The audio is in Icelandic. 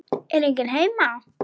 Er enginn heima?